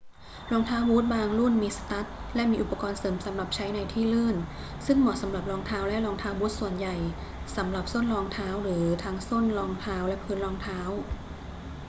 รองเท้าบู๊ตบางรุ่นมีสตั๊ดและมีอุปกรณ์เสริมสำหรับใช้ในที่ลื่น ซึ่งเหมาะสำหรับรองเท้าและรองเท้าบู๊ตส่วนใหญ่ สำหรับส้นรองเท้า หรือทั้งส้นรองเท้าและพื้นรองเท้า